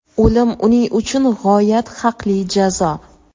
O‘lim uning uchun g‘oyat haqli jazo.